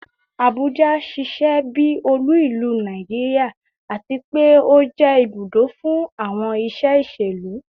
Abuja ṣiṣẹ bi olu ilu Naijiria ati pe o jẹ ibudo fun awọn iṣe iṣelu